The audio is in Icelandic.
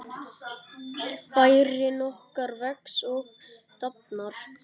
Bærinn okkar vex og dafnar.